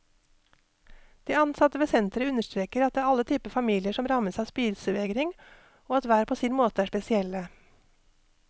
De ansatte ved senteret understreker at det er alle typer familier som rammes av spisevegring og at hver på sin måte er spesielle.